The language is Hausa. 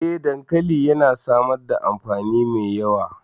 Eh, dankali yana samar da amfani mai yawa.